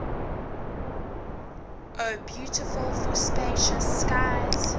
o beautiful for spacious skies